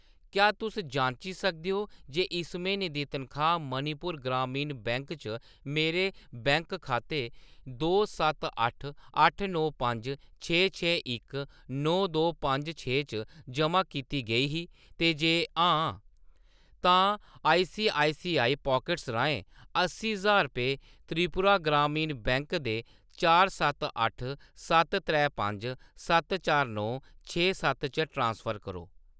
क्या तुस जांची सकदे ओ जे इस म्हीने दी तनखाह्‌‌ मणिपुर ग्रामीण बैंक च मेरे बैंक खाते दो सत्त अट्ठ अट्ठ नौ पंज छे छे इक नौ दो पंज छे च जमा कीती गेई ही, ते जे हां, तां आईसीआईसीआई पॉकेट्स राहें अस्सी ज्हार रपेऽ त्रिपुरा ग्रामीण बैंक दे चार सत्त अट्ठ सत्त त्रै पंज सत्त चार नौ छे सत्त च ट्रांसफर करो ।